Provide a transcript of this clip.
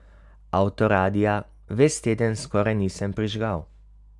Avtoradia ves teden skoraj nisem prižigal.